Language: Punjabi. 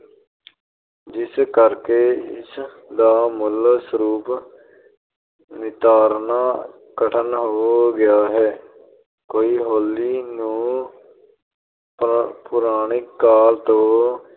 ਅਹ ਜਿਸ ਕਰਕੇ ਇਸਦਾ ਮੂਲ ਸਰੂਪ ਨਿਤਾਰਨਾ ਕਠਿਨ ਹੋ ਗਿਆ ਹੈ । ਕਈ ਹੋਲੀ ਨੂੰ ਪੁਰਾਣਿਕ ਕਾਲ ਤੋਂ